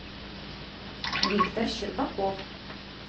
виктор щербаков